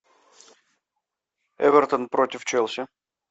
эвертон против челси